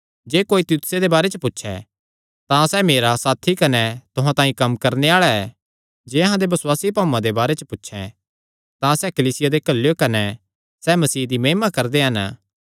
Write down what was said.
जे कोई तीतुसे दे बारे च पुछैं तां सैह़ मेरा साथी कने तुहां तांई कम्म करणे आल़ा ऐ जे अहां दे बसुआसी भाऊआं दे बारे च पुछे तां सैह़ कलीसियां दे घल्लेयो कने सैह़ मसीह दी महिमा करदे हन